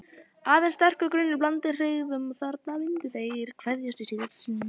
Aðeins sterkur grunur, blandinn hryggð, um að þarna myndu þeir kveðjast í síðasta sinn.